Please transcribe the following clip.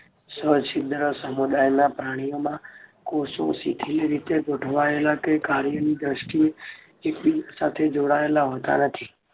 સછિદ્ર સમુદાયના પ્રાણીઓમાં કોષો શિથિલ રીતે ગોઠવાયેલા કે કાર્યની દર્ષ્ટિએ એકબીજા સાથે જોડાયેલા હોતા નથી.